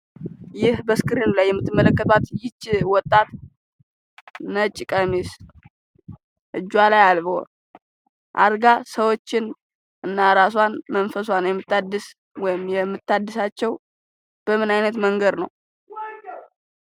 ይህ በስክሪኑ ላይ የምትመለከቱት ይቺ ወጣት ነጭ ቀሚስ፤ እጁዋ ላይ አልቦ ሰዎች እና ራሷን መንፈሳውን የምታድስ ወይም የምታድሳቸው በምን አይነት መንገድ ነው?